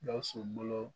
Gawusu bolo